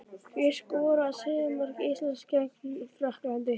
Hver skoraði sigurmark Íslands gegn Frakklandi?